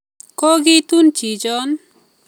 Kokitun chichon